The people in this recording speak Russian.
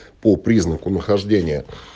по признаку нахождения